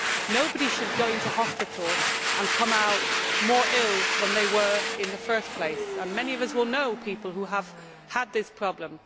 Nobody should go into hospital and come out more ill than they were in the first place and many of us will know people who have had this problem.